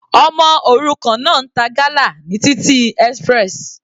Ọmọ òrukàn náà ń ta gala ní títì express.